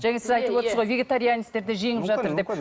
жаңа сіз айтып отырсыз ғой вегетарианецтерді жеңіп жатыр деп